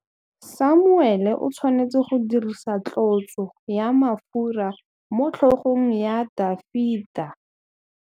Samuele o tshwanetse go dirisa tlotsô ya mafura motlhôgong ya Dafita.